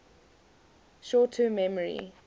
short term memory